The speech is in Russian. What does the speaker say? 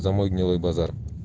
за мой гнилой базар